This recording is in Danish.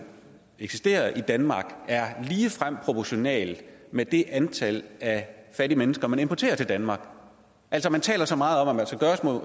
eksisterer i danmark er ligefrem proportional med det antal fattige mennesker man importerer til danmark altså man taler så meget om at